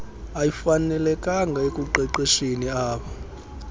ayifanelekanga ekuqeqesheni ab